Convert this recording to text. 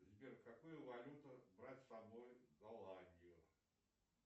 сбер какую валюту брать с собой в голландию